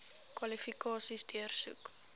kwalifikasies deursoek